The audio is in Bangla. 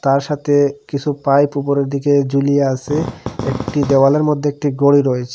তার সাথে কিছু পাইপ উপরের দিকে ঝুলিয়ে আছে একটি দেওয়ালের মধ্যে একটি গড়ি রয়েছে।